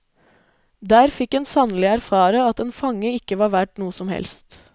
Der fikk en sannelig erfare at en fange ikke var verd noe som helst.